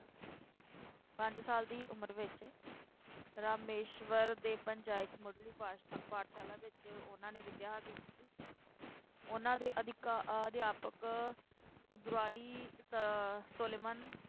ਪੰਜ ਸਾਲ ਦੀ ਉਮਰ ਵਿੱਚ ਰਾਮੇਸ਼ਵਰਮ ਦੇ ਪੰਚਾਇਤ ਮੁਢਲੀ ਪਾਠਸ਼ਾ~ ਪਾਠਸ਼ਾਲਾ ਵਿੱਚ ਉਹਨਾਂ ਨੇ ਵਿਦਿਆ ਹਾਸਲ ਕੀਤੀ ਉਹਨਾਂ ਦੇ ਅਧਿਕਾ ਅਧਿਆਪਕ ਇਯਾਦੁਰਾਈ ਸ~ ਸੋਲੋਮਨ,